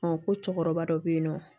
ko cɛkɔrɔba dɔ bɛ yen nɔ